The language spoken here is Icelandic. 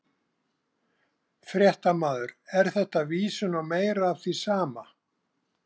Fréttamaður: Er þetta vísun á meira af því sama?